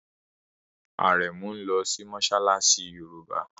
Arẹmu nlò sí Mossalassi yorùbá.